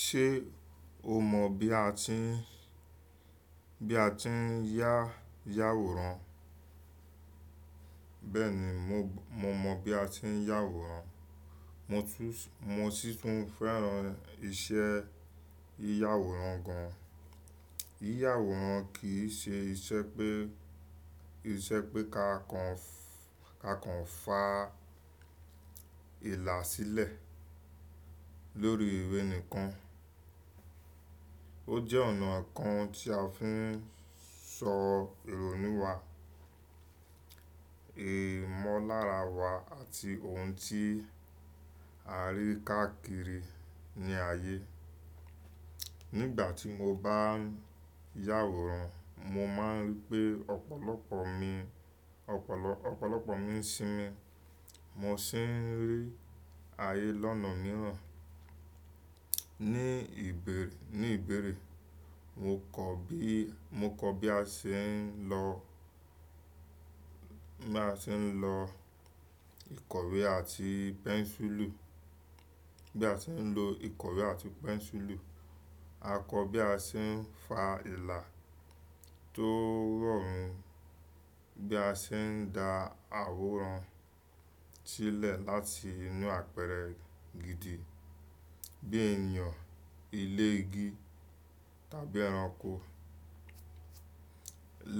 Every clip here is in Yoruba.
Ṣé o mọ bí a ti ń, bí a ti ń yá, yá àwòrán? Bẹ́ẹ̀ni, mo b, mo mọ bí a ti ń yá àwòrán. Mo tún s, mo sì tún fẹ́ran iṣẹ́ yíyàwòrán gan. Yíyàwòrán kì í ṣe iṣẹ́ pé, iṣẹ́ pé ká kan f, ká kan fà ìlà sílẹ̀ lórí ìwé nìkan. Ójẹ́ ónà kan tí a fi ń sọ ìrònú wa, ìmónlárawa àti òun tí arí káàkiri ní ayè. Nígbà tí mo bá ń yá àwòrán, mo máa ń rí pé ọ̀pọ̀lọpọ̀ mi, ọ̀pọ̀lọ, ọ̀pọ̀lọpọ̀ mi ń sinmi, mo sì ń rí ayé lọ́nà mìíràn. Ní ìbéèrè, ní ìbéèrè, mo kọ́ bí, mo kọ bí a ṣe ń lo, bí a ṣe ń lo ìkọ̀wé àti pẹ́ńsùlù, bí a ṣe ń lo ìkọ̀wé àti pẹ́ńsùlù. A kọ bí a ṣe ń fa ìlà tó rọrùn, bí a ṣe ń da àwòrán sílẹ̀ láti inú àpẹrẹ gidi bí ènìyàn, ilé igi tàbí ẹranko.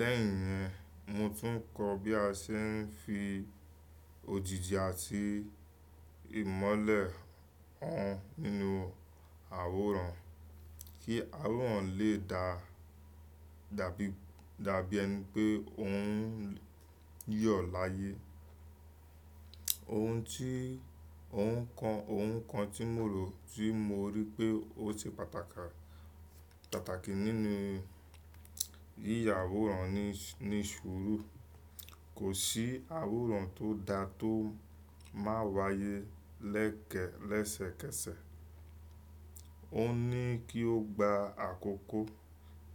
Lẹ́yìn yẹn, mo tún kọ́ bí a ṣe ń fi òjìji àti ìmọ́lẹ̀ hàn nínú àwòrán kí àwòrán lè dà dàbí, dàbí ẹni pé ó ń yọ̀ láyé. Òun tí oun kan oun kan tí mo rò tí mo rí pé ó ṣe pàtàkì ni ya àwòrán ni sùúrù. Kò sí àwòrán tó da tó máa wáyé lẹ́kẹ̀, lẹ́sẹ̀kẹsẹ̀. Ó ní kí ó gba àkókò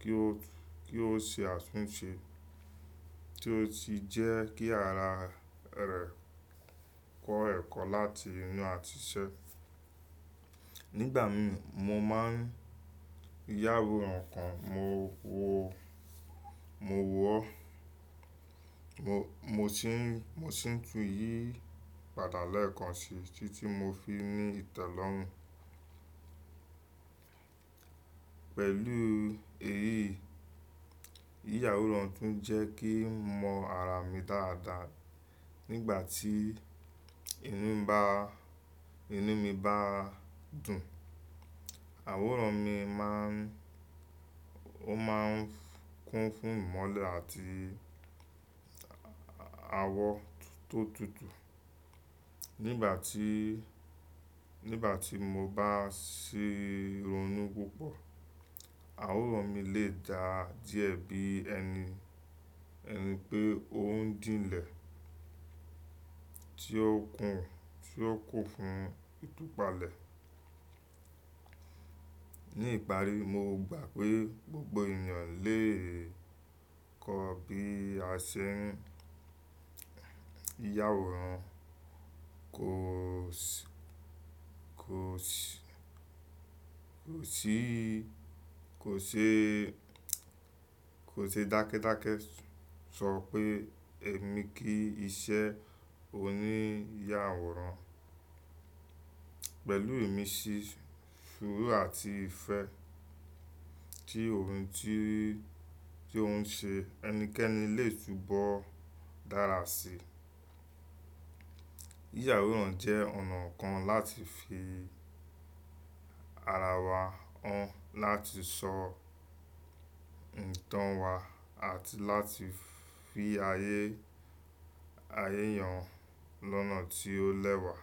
kí ó, kí ó ṣe àtúnṣe tí ó sì jẹ́ kí ara rẹ̀ kọ ẹ́kọ́ láti inú àtise. Nígbà mi, mo máa ń yá àwòrán kan, mo wọ́, mo wọ́, mo, mo sì ń, mo sì tún yí padà lẹ́ẹ̀kan sí títí mo fi ní ìtẹ́lọ́rùn. Pẹ̀lú èyí, yíyàwòrán tún jẹ́ kí n mọ ara mi dáadáa. Nígbà tí inú mii bá dùn àwòrán mii máa ń kún fún ìmọ́lẹ̀ àti àwọ̀ tó tutù. Nígbà tí, nígbà tí mo bá ṣì ronú púpọ̀, àwòrán mi lè dà díẹ̀ bí ẹni, ẹni pé ó ń dínlẹ̀ tí ó kún, tí ó kù fún ìtúpalẹ̀. Ní ìparí, mo gbà pé gbogbo ènìyàn lè kọ́ bí a ṣe ń yíyàwòrán. Kò ṣì, kò ṣì, kò sí, kò ṣe, kò ṣe dákẹ́dákẹ́ sọ pé ẹmi kí iṣẹ́ oníyàwòrán. Pẹ̀lú ìmísí, sùúrù àti ìfẹ́ tí ohun tí, tí ó ń ṣe, ẹnikẹ́ni lè túbọ̀ dára sí i. Yíyàwòrán jẹ́ ọ̀nà kan láti fi ara wa hàn, láti sọ ìtàn wa àti láti fi ayé, ayé yan lọ́nà tí ó lẹ́wà.